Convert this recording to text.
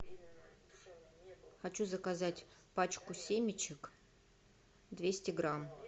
хочу заказать пачку семечек двести грамм